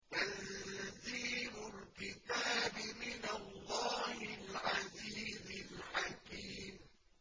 تَنزِيلُ الْكِتَابِ مِنَ اللَّهِ الْعَزِيزِ الْحَكِيمِ